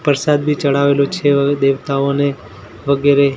પરસાદ બી ચડાવેલો છે હવે દેવતાઓને વગેરે.